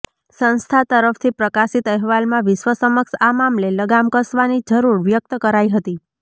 સંસ્થા તરફથી પ્રકાશિત અહેવાલમાં વિશ્વ સમક્ષ આ મામલે લગામ કસવાની જરૂર વ્યક્ત કરાઈ હતી